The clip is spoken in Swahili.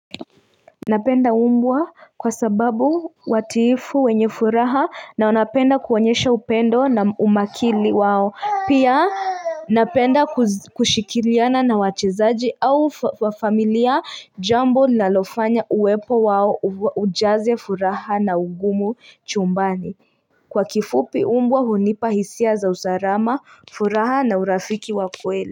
Napenda mbwa kwa sababu watiifu wenye furaha na wanapenda kuonyesha upendo na umakili wao Pia napenda kushikiriana na wachezaji au familia jambo linalofanya uwepo wao ujaze furaha na ugumu chumbani Kwa kifupi mbwa hunipa hisia za usarama furaha na urafiki wa kweli.